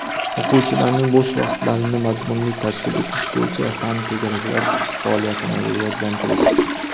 O‘quvchilarning bo‘sh vaqtlarini mazmunli tashkil etish bo‘yicha fan to‘garaklar faoliyatini rivojlantirish.